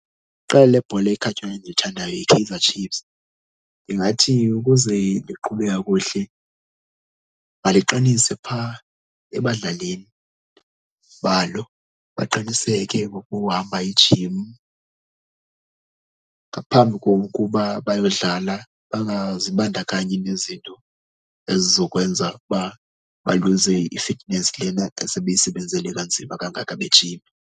Iqela lebhola ekhatywayo endilithandayo yiKaizer Chiefs. Ndingathi ukuze liqhube kakuhle maliqinise phaa ebadlalini balo baqiniseke ngokuhamba ijim. Ngaphambi kokuba bayodlala bangazibandakanyi nezinto ezizokwenza uba baluze i-fitness lena esebeyisebenzele kanzima kangaka bejime.